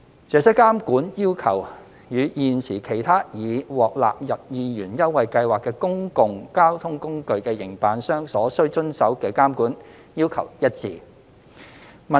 這些監管要求與現時其他已獲納入二元優惠計劃的公共交通工具的營辦商所須遵守的監管要求一致。